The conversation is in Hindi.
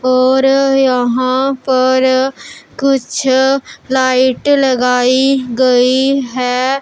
और पर यहां पर कुछ लाइट लगाई गई है।